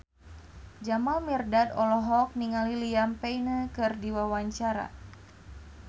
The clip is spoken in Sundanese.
Jamal Mirdad olohok ningali Liam Payne keur diwawancara